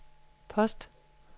post